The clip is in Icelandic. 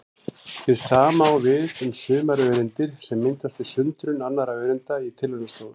Hið sama á við um sumar öreindir sem myndast við sundrun annarra öreinda í tilraunastofum.